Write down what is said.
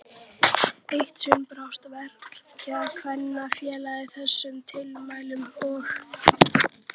Eitt sinn brást Verkakvennafélagið þessum tilmælum og